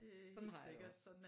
Sådan har jeg det også